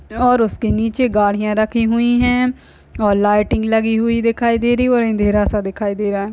और उसके नीचे गाड़ियां रखी हुई हैं और लाइटिंग लगी हुई दिखाई दे रही है व अंधेरा सा दिखाई दे रहा है।